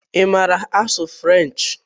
Ị maara asụ Frenchi?